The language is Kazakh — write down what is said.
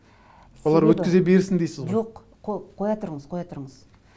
өткізе берсін дейсіз ғой жоқ қоя тұрыңыз қоя тұрыңыз